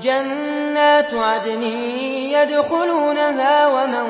جَنَّاتُ عَدْنٍ يَدْخُلُونَهَا وَمَن